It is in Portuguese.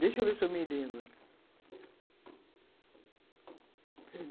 Deixa eu ver se eu me lembro.